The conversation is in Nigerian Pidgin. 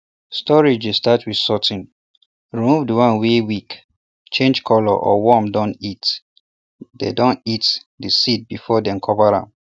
storage dey start with sorting remove de one wey weak change color or worm dun eat de dun eat de seed before dem cover am